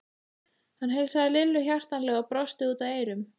Hann heilsaði Lillu hjartanlega og brosti út að eyrum.